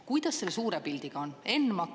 Kuidas selle suure pildiga on?